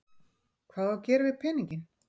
Hvað á að gera við peninginn?